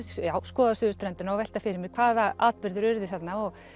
skoða suðurströndina og velta fyrir mér hvaða atburðir urðu þarna og